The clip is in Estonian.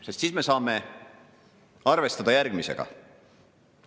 Sel juhul me saame arvestada järgmisega.